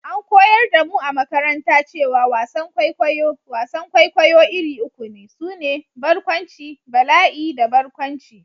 An koyar da mu a makaranta cewa wasan kwaikwayo/wasan kwaikwayo iri uku ne, su ne: Barkwanci, Bala'i da Barkwanci.